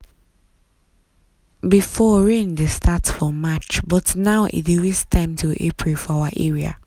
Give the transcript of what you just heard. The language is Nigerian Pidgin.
before rain dey start for march but now e dey waste time till april for our area.